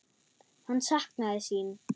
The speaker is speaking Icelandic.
Hann saknaði sín.